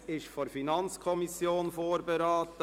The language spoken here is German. Dieses Gesetz wurde von der FiKo vorberaten.